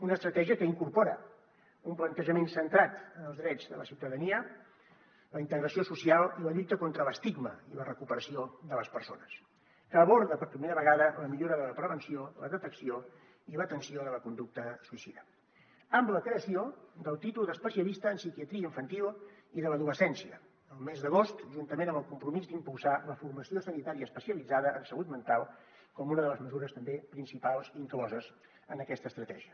una estratègia que incorpora un plantejament centrat en els drets de la ciutadania la integració social i la lluita contra l’estigma i la recuperació de les persones que aborda per primera vegada la millora de la prevenció la detecció i l’atenció de la conducta suïcida amb la creació del títol d’especialista en psiquiatria infantil i de l’adolescència al mes d’agost juntament amb el compromís d’impulsar la formació sanitària especialitzada en salut mental com una de les mesures també principals incloses en aquesta estratègia